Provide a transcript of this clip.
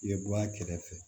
I bɛ bɔ a kɛrɛfɛ